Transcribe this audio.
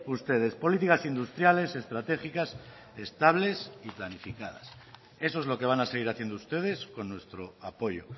ustedes políticas industriales estratégicas estables y planificadas eso es lo que van a seguir haciendo ustedes con nuestro apoyo